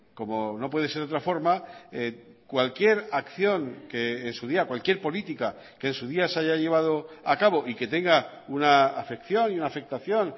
como no puede ser de otra forma cualquier acción que en su día cualquier política que en su día se haya llevado a cabo y que tenga una afección y una afectación